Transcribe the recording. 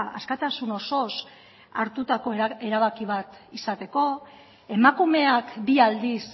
askatasun osoz hartutako erabaki bat izateko emakumeak bi aldiz